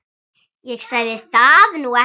Ég sagði það nú ekki.